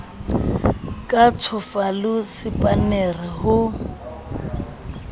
ka tjhofa le sepannere ho